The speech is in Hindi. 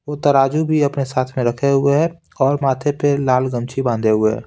वो तराजू भी अपने साथ में रखे हुए हैं और माथे पे लाल गमछी बांधे हुए हैं।